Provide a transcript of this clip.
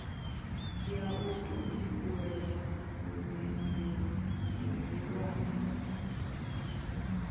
ya u ṱuṱuwedza vhubindudzi vhuhulwane